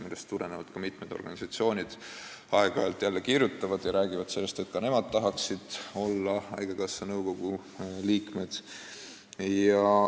Sellest tulenevalt mitmed organisatsioonid aeg-ajalt kirjutavad ja räägivad sellest, et ka nemad tahaksid olla haigekassa nõukogu liikmed.